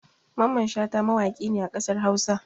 Mamman Shata mawaƙi ne a ƙasar Hausa